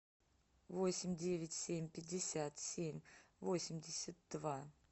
восемь девять семь пятьдесят семь восемьдесят два